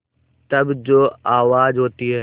तब जो आवाज़ होती है